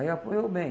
Aí apoiou bem.